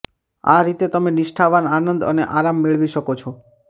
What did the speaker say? આ રીતે તમે નિષ્ઠાવાન આનંદ અને આરામ મેળવી શકો છો